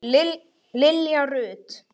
Nú var komið að mér.